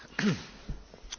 Herr Präsident!